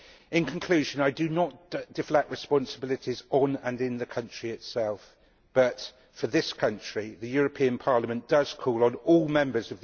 In conclusion, I do not deflect the responsibilities on and in the country itself, but for this country the European Parliament does call on all Members...